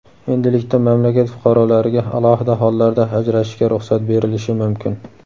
Endilikda mamlakat fuqarolariga alohida hollarda ajrashishga ruxsat berilishi mumkin.